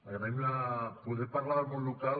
agraïm poder parlar del món local